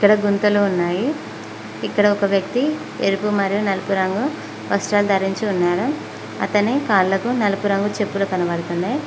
ఇక్కడ గుంతలు ఉన్నాయి ఇక్కడ ఒక వ్యక్తి ఎరుపు మరియు నలుపు రంగు వస్త్రం ధరించి ఉన్నారు అతని కాళ్లకు నలుపు రంగు చెప్పులు కనపడుతున్నాయి.